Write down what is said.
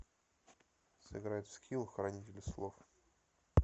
сыграть в скилл хранитель слов